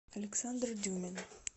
александр дюмин